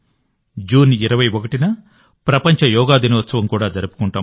June 21న ప్రపంచ యోగా దినోత్సవం కూడా జరుపుకుంటాం